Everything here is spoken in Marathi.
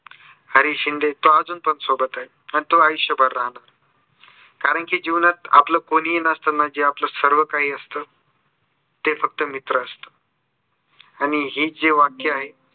हरी शिंदे तो अजून पण सोबत आहे अन तो आयुष्यभर राहणार कारण की आपल कोणीही नसताना जे आपला सर्व काही असतं ते फक्त मित्र असतं. आणि हे जे वाक्य आहे